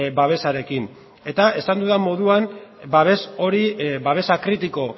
babesarekin eta esan dudan moduan babes hori babesa kritiko